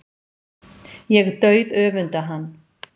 Ég dauðöfunda hann.